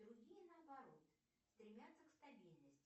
другие наоборот стремятся к стабильности